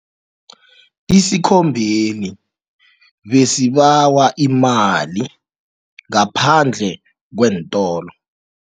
Isikhombeli besibawa imali ngaphandle kweentolo.